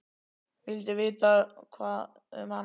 Vildi vita hvað um hana varð.